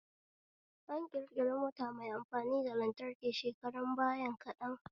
An ƙirƙiri mota mai amfani da lantraki shekarun bayan kaɗan